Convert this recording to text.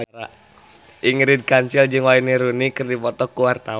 Ingrid Kansil jeung Wayne Rooney keur dipoto ku wartawan